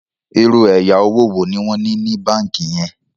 ìrù ẹyà owo wo ní wón ní ní bánkì yen?